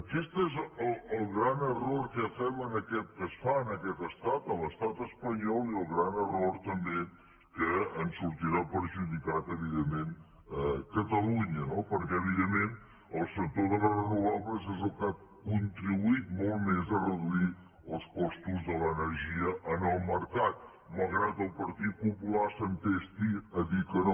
aquest és el gran error que fem que es fa en aquest estat a l’estat espanyol i el gran error també que en sortirà perjudicat evidentment catalunya no perquè evidentment el sector de les renovables és el que ha contribuït molt més a reduir els costos de l’energia en el mercat malgrat que el partit popular s’entesti a dir que no